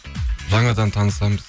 жаңадан танысамыз